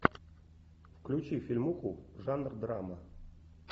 включи фильмуху жанр драма